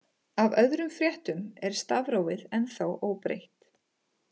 Af öðrum fréttum er stafrófið ennþá óbreytt.